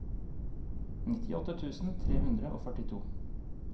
nittiåtte tusen tre hundre og førtito